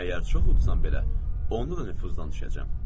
Əgər çox uzsam belə, onu da nüfuzdan düşəcəm.